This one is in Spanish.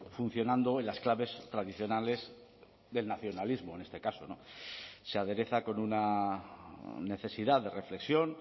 funcionando en las claves tradicionales del nacionalismo en este caso se adereza con una necesidad de reflexión